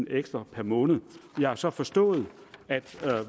ekstra per måned jeg har så forstået at